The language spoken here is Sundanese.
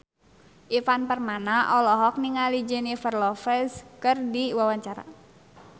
Ivan Permana olohok ningali Jennifer Lopez keur diwawancara